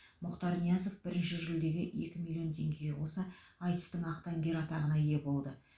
мұхтар ниязов бірінші жүлдеге екі миллион теңгеге қоса айтыстың ақтаңгері атағына ие болды